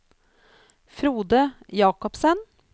Frode Jacobsen